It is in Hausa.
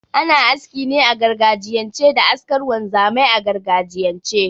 Ana aski ne a gargajiyance da askar wanzamai a gargajiyance